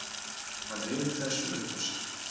Hann ryður þessu upp úr sér.